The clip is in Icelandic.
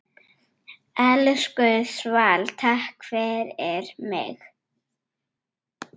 Elsku Svala, takk fyrir mig.